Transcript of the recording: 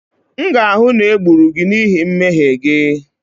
M ga-ahụ na e gburu gị n'ihi mmehie gị